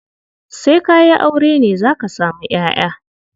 Sai ka yi aure ne za ka samu ƴaƴa.